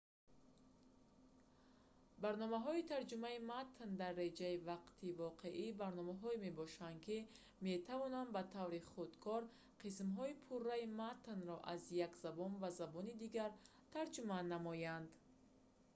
барномаҳои тарҷумаи матн дар реҷаи вақти воқеӣ барномаҳое мебошанд ки метавонанд ба таври худкор қисмҳои пурраи матнро аз як забон ба забони дигар тарҷума намоянд